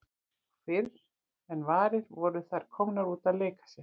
Og fyrr en varði voru þær komnar út að leika sér.